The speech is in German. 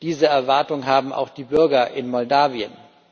Diese Erwartung haben auch die Bürger in Moldawien.